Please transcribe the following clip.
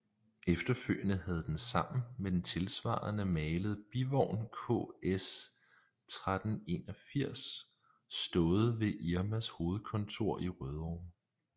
Efterfølgende havde den sammen med den tilsvarende malede bivogn KS 1381 stået ved Irmas hovedkontor i Rødovre